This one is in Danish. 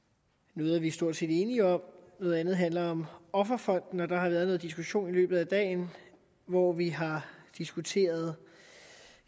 noget er vi stort set enige om noget andet handler om offerfonden og der har været noget diskussion i løbet af dagen hvor vi har diskuteret